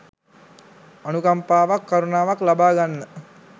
අනුකම්පාවක් කරුණාවක් ලබාගන්න